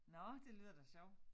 Nåh det lyder da sjovt